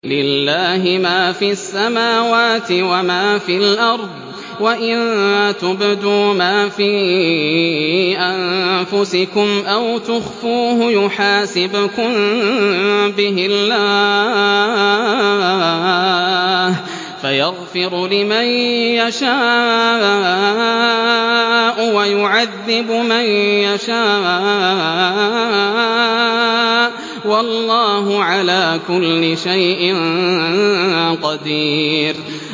لِّلَّهِ مَا فِي السَّمَاوَاتِ وَمَا فِي الْأَرْضِ ۗ وَإِن تُبْدُوا مَا فِي أَنفُسِكُمْ أَوْ تُخْفُوهُ يُحَاسِبْكُم بِهِ اللَّهُ ۖ فَيَغْفِرُ لِمَن يَشَاءُ وَيُعَذِّبُ مَن يَشَاءُ ۗ وَاللَّهُ عَلَىٰ كُلِّ شَيْءٍ قَدِيرٌ